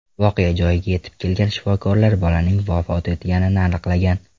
Voqea joyiga yetib kelgan shifokorlar bolaning vafot etganini aniqlagan.